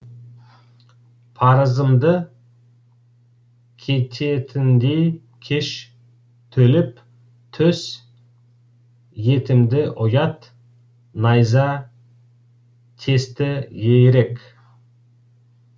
парызымды кететіндей кеш төлеп төс етімді ұят найза тесті ерек